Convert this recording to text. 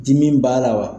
Dimi b'a la wa